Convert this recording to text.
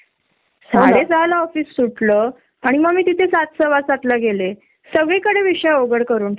एक तास आपण एक्स्ट्रा धरूया की ग सहा वाजेपर्यंत तू म्हंटली तस बरोबर साडे पांच ला मीटिंग अनाऊन्स करतात